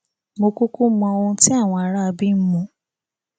mo kúkú mọ ohun tí àwọn aráabí ń mu